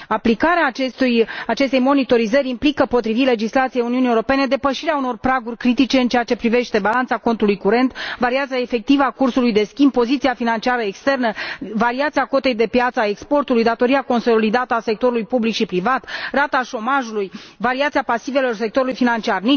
Aplicarea acestei monitorizări implică, potrivit legislației Uniunii Europene, depășirea unor praguri critice în ceea ce privește balanța contului curent, variația efectivă a cursului de schimb, poziția financiară externă, variația cotei de piață a exporturilor, datoria consolidată a sectorului public și privat, rata șomajului și variația pasivelor sectorului financiar.